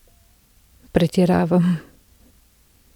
Pretiravam.